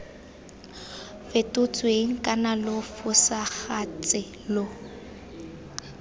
fetotsweng kana lo fosagatse lo